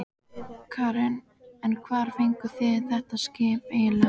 Karen: En hvar fenguð þið þetta skip eiginlega?